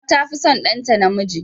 Uwa tafi son ɗanta namiji.